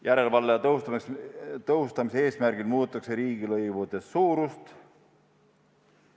Järelevalve tõhustamise eesmärgil muudetakse riigilõivude suurust.